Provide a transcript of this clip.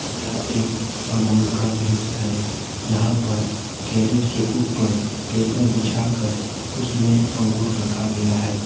यह एक अंगूर का दृश्य है जहां पर कैरेट के ऊपर पेपर बिछाकर उसमें अंगूर रखा गया है।